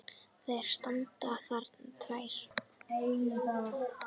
Þær standa þarna tvær!